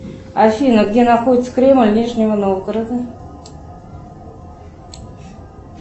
афина где находится кремль нижнего новгорода